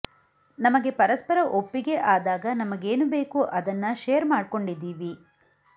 ನಮಗೆ ಪರಸ್ಪರ ಒಪ್ಪಿಗೆ ಆದಾಗ ನಮಗೇನು ಬೇಕು ಅದನ್ನ ಶೇರ್ ಮಾಡ್ಕೊಂಡಿದೀವಿ